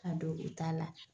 Ka don o t'a la.